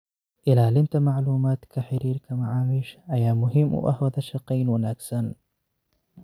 Ilaalinta macluumaadka xiriirka macaamiisha ayaa muhiim u ah wadashaqeyn wanaagsan.